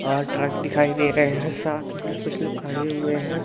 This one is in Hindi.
बाहर ट्रक दिखाई दे रहे है साथ में यहां कुछ लोग खड़े हुए हैं।